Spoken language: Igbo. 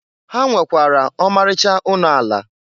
Ha nwekwara ọmarịcha ụnọ ala.